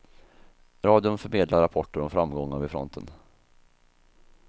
Radion förmedlar rapporter om framgångar vid fronten.